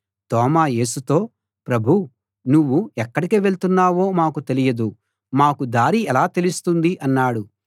తోమా యేసుతో ప్రభూ నువ్వు ఎక్కడికి వెళ్తున్నావో మాకు తెలియదు మాకు దారి ఎలా తెలుస్తుంది అన్నాడు